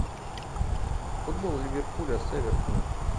футбол ливерпуля с эвертоном